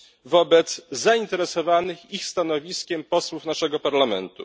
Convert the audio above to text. wobec zainteresowanych ich stanowiskiem posłów naszego Parlamentu.